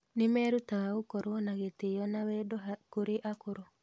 Nĩ merutaga gũkorwo na gĩtĩo na wendo kũrĩ akũrũ.